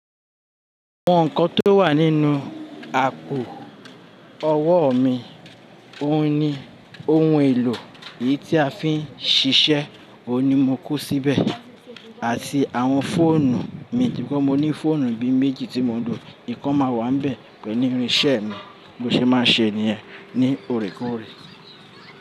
Àwọn nǹkan tó wà nínú àpò ọwọ́ mi, òun ni ohun èlò èyí tí a fi ń ṣiṣẹ́, òun ni mo kó síbẹ̀, àti àwọn fóònù mi, nítorí mo ní fóònù bí i méjì tí mò ń lò. Ìkan máa wà níbẹ̀ pẹ̀lú irinṣẹ́ mi, bó ṣe máa ṣe ènìyàn ní òòrèèkóòrè.